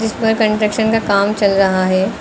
व कंस्ट्रक्शन का काम चल रहा है।